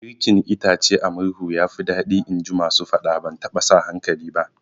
Girkin itace a murhu yafi daɗi inji masu faɗa, ban taɓa sa hankali ba